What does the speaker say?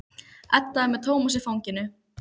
Edda er með Tómas í fanginu.